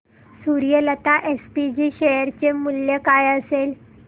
Suryalata SPG share चे मूल्य काय असेल